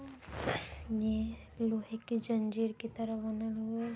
ये लोहे की जंजीर की तरह बने हुए --